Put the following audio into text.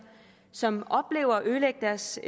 som oplever at ødelægge deres